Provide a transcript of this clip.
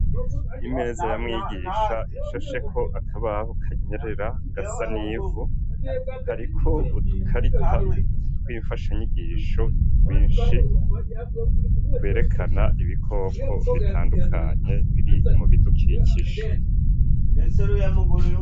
Imeza ya mwigisha ishasheko akabaho kanyerera gasa nivu hariko udukarata tw'imfasha nyigisho twinshi berekana ibikoko bitandukanye biri mubidukinsha.